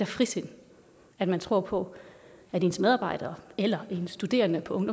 frisind at man tror på at ens medarbejdere eller en studerende på